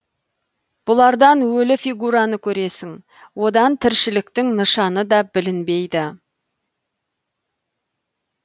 бұлардан өлі фигураны көресің одан тіршіліктің нышаны да білінбейді